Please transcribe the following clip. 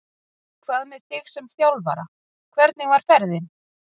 Hvað með þig sem þjálfara, hvernig var ferðin?